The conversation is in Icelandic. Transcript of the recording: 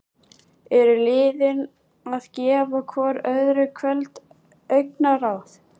Eru liðin að gefa hvoru öðru köld augnaráð?